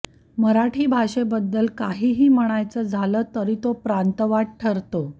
मराठी भाषेबद्दल काहीही म्हणायचं झालं तरी तो प्रांतवाद ठरतो